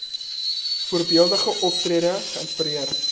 voorbeeldige optrede geïnspireer